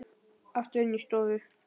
Aftur inn í stofu.